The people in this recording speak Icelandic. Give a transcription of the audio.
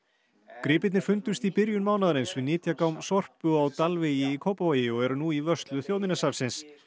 gripirnir fundust í byrjun mánaðarins við Sorpu á Dalvegi í Kópavogi og eru nú í vörslu Þjóðminjasafnins